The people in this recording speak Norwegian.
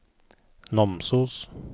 Namsos